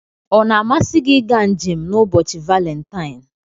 Ọ na-amasị gị ịga njem n'ụbọchị Valentine?